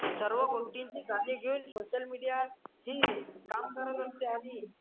सर्व गोष्टींची काळजी घेऊन सोशल मीडिया ही काम करत असती